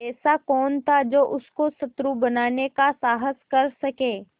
ऐसा कौन था जो उसको शत्रु बनाने का साहस कर सके